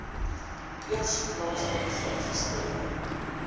eers plaaslik geregistreer